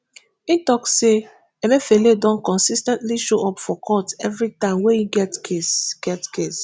e also tok say emefiele don consis ten tly show up for court evri time wey e get case get case